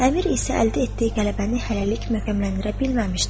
Əmir isə əldə etdiyi qələbəni hələlik möhkəmləndirə bilməmişdir.